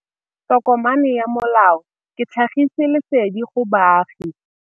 Tokomane ya molao ke tlhagisi lesedi go baagi.